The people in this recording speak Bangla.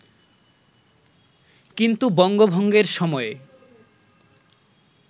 কিন্তু বঙ্গভঙ্গের সময়ে